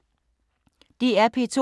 DR P2